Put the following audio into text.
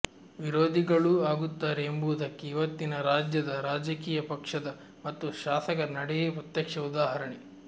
ವಿರೋಧಿಗಳೂ ಆಗುತ್ತಾರೆ ಎಂಬುದಕ್ಕೆ ಇವತ್ತಿನ ರಾಜ್ಯದ ರಾಜಕೀಯ ಪಕ್ಷದ ಮತ್ತು ಶಾಸಕರ ನಡೆಯೇ ಪ್ರತ್ಯಕ್ಷ ಉದಾಹರಣೆ